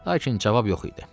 Lakin cavab yox idi.